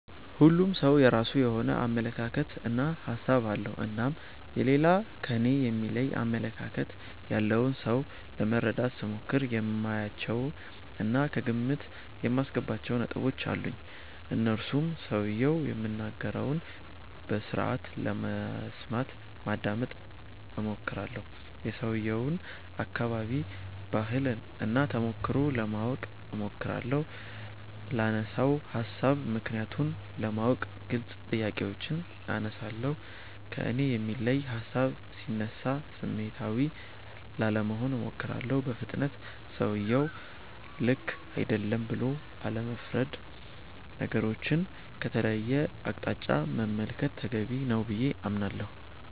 ሁሉም ሠው የራሱ የሆነ አመለካከት እና ሀሣብ አለው። እናም የሌላ ከኔ የሚለይ አመለካከት ያለውን ሠው ለመረዳት ስሞክር የማያቸው እና ከግምት የማስገባቸው ነጥቦች አሉኝ። እነርሱም ሠውየው የሚናገረውን በስርአቱ ለመስማት (ማዳመጥ ) እሞክራለሁ። የሠውየውን አከባቢ፣ ባህል እና ተሞክሮ ለማወቅ እሞክራለሁ። ላነሣው ሀሣብ ምክንያቱን ለማወቅ ግልጽ ጥያቄዎችን አነሣለሁ። ከእኔ የሚለይ ሀሣብ ሢነሣ ስሜታዊ ላለመሆን እሞክራለሁ። በፍጥነት ሠውየው ልክ አይደለም ብሎ አለመፍረድ። ነገሮቹን ከተለየ አቅጣጫ መመልከት ተገቢ ነው ብዬ አምናለሁ።